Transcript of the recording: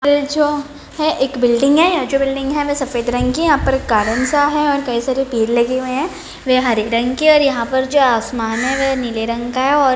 ये जो है एक बिल्डिंग है यह जो बिल्डिंग है वो सफेद रंग की है यहाँ पर कारण सा है और कई सारे पेड़ लगे हुये है वे हरे रंग के है और यहाँ पे जो आसमान है वो नीले रंग का है ।